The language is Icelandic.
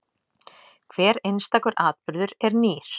Hver einstakur atburður er nýr.